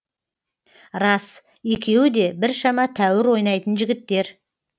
рас екеуі де біршама тәуір ойнайтын жігіттер